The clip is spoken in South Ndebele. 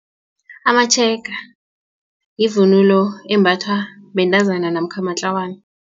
Amatshega yivunulo embathwa bentazana namkha matlawana.